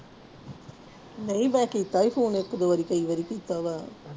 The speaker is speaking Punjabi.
ਨਹੀਂ ਮੈਂ ਕੀਤਾ ਸੀ phone ਇੱਕ ਦੋ ਵਾਰੀ ਕਈ ਵਾਰੀ ਕੀਤਾ ਵਾ।